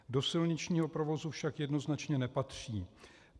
Do silničního provozu však jednoznačně nepatří.